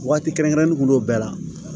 Waati kɛrɛnkɛrɛnnen kun b'o bɛɛ la